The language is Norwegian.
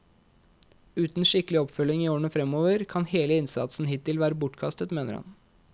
Uten skikkelig oppfølging i årene fremover, kan hele innsatsen hittil være bortkastet, mener han.